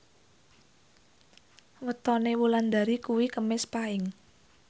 wetone Wulandari kuwi Kemis Paing